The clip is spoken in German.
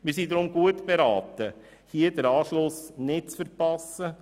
Wir sind deshalb gut beraten, den Anschluss nicht zu verpassen.